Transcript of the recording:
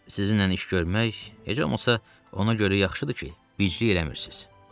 Sizinlə iş görmək, heç olmasa, ona görə yaxşıdır ki, biclik eləmirsiz.